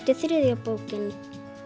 er þriðja bókin